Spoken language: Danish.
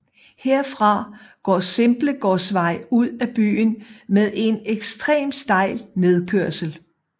Herfra går Simblegårdsvej ud af byen med en ekstremt stejl nedkørsel